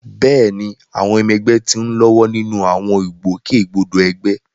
Bẹ́ẹ̀ni, àwọn ọmọ ẹgbẹ́ ti ń lọ́wọ́ nínú àwọn ìgbòkègbodò ẹgbẹ́.